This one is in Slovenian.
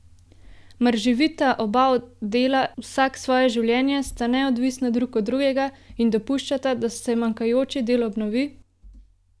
Mar živita oba dela vsak svoje življenje, sta neodvisna drug od drugega in dopuščata, da se manjkajoči del obnovi?